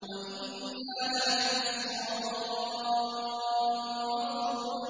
وَإِنَّا لَنَحْنُ الصَّافُّونَ